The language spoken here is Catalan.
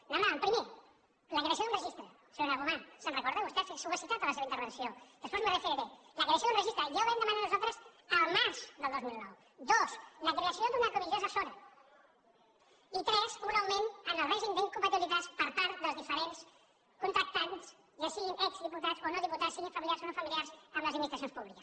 demanàvem primer la creació d’un registre senyora gomà se’n recorda vostè ho ha citat a la seva intervenció després m’hi referiré la creació d’un registre ja ho vam demanar nosaltres al març del dos mil nou dos la creació d’una comissió assessora i tres un augment en el règim d’incompatibilitats per part dels diferents contractants ja siguin exdiputats o no diputats siguin familiars o no familiars amb les administracions públiques